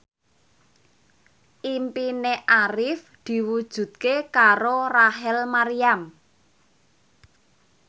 impine Arif diwujudke karo Rachel Maryam